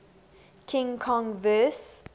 king kong vs